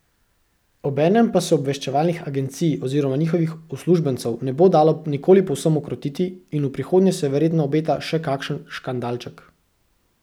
Obenem pa se obveščevalnih agencij oziroma njihovih uslužbencev ne bo dalo nikoli povsem ukrotiti in v prihodnje se verjetno obeta še kakšen škandalček.